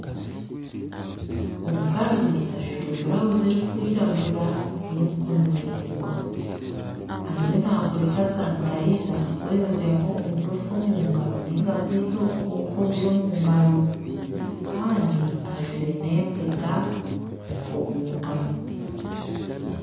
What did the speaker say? Omukazi ajwaire burawuzi erikwiragura y'emikono miraingwa, ariyo naakoresa sanitayiza kweoyozyaho oburofa omu ngaro nainga kwita obukooko oburi omu ngaro. Kandi ajwaire n'empeta omu ngaro.